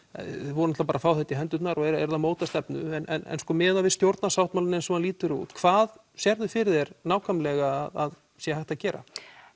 voruð bara að fá þetta í hendurnar og eruð að móta stefnu en miðað við stjórnarsáttmálann eins og hann lítur út hvað sérðu fyrir þér nákvæmlega að sé hægt að gera